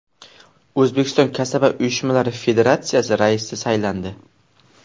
O‘zbekiston Kasaba uyushmalari federatsiyasi raisi saylandi.